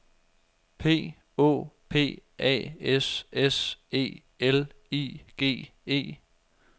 P Å P A S S E L I G E